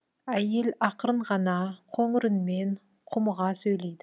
әйел ақырын ғана қоңыр үнмен құмыға сөйлейді